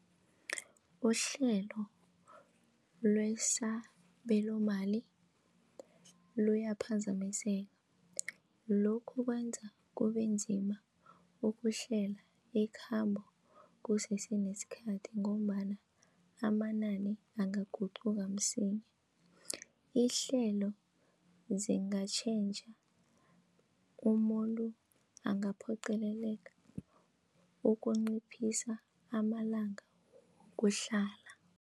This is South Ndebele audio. Uhlelo lwesabelomali luyaphazamiseka lokhu kwenza kube nzima ukuhlela ikhambo kusese nesikhathi ngombana amanani angaguqhuka msinya. Ihlelo zingabatjhentjha umuntu angaphoqeleleka ukunciphisa amalanga wokuhlala.